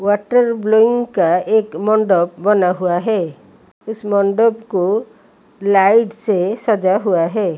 Water का एक मंडप बना हुआ है इस मंडप को लाइट से सजा हुआ है।